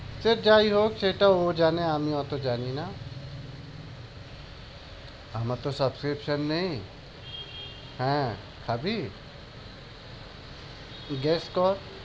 সে যাই হোক সেটা ও জানে আমি অত জানি না। আমার তো subscription নেই। হ্যাঁ, খাবি? guess কর।